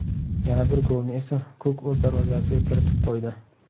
Yana bir golni esa Kuk o‘z darvozasiga kiritib qo‘ydi.